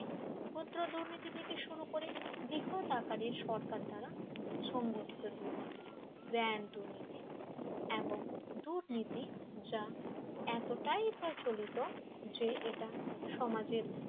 ক্ষুদ্র দুর্নীতি থেকে শুরু করে বৃহৎ আকারে সরকার দ্বারা সংঘটিত দুর্নীতি গ্র্যান্ড দুর্নীতি এবং দুর্নীতি যা এতটাই প্রচলিত যে এটা সমাজের